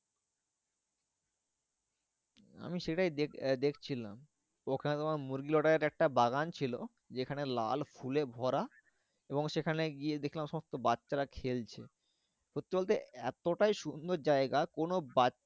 আমি সেটাই দেখ দেখছিলাম ওখানে তোমার একটা বাগান ছিল যেখানে লাল ফুলে ভরা এবং সেখানে গিয়ে দেখলাম সব তো বাচ্চারা খেলছে। সত্যি বলতে এতটাই সুন্দর জায়গা কোনো বাচ্চা